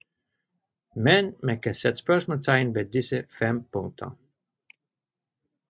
Men man kan sætte spørgsmålstegn ved disse fem punkter